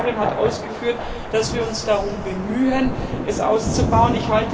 Die Kommissarin hat ausgeführt, dass wir uns darum bemühen, diese auszubauen.